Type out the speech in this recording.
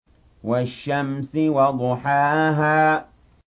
وَالشَّمْسِ وَضُحَاهَا